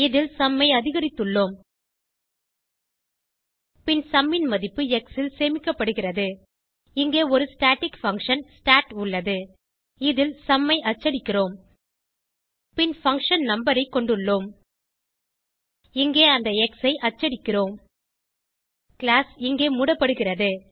இதில் சும் ஐ அதிகரித்துள்ளோம் பின் சும் ன் மதிப்பு எக்ஸ் ல் சேமிக்கப்படுகிறது இங்கே ஒரு ஸ்டாட்டிக் பங்ஷன் ஸ்டாட் உள்ளது இதில் சும் ஐ அச்சடிக்கிறோம் பின் பங்ஷன் நம்பர் ஐ கொண்டுள்ளோம் இங்கே அந்த எக்ஸ் ஐ அச்சடிக்கிறோம் கிளாஸ் இங்கே மூடப்படுகிறது